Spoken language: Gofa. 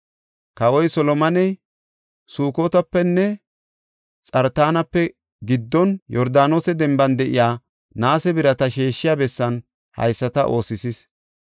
Kawoy Solomoney Sukotapenne Xartaanape giddon, Yordaanose denban de7iya, naase birata sheeshiya bessan haysata oosisis.